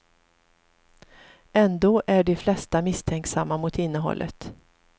Ändå är de flesta misstänksamma mot innehållet.